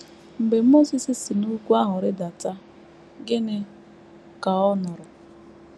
Mgbe Mosis si n’ugwu ahụ rịdata, gịnị ka ọ nụrụ?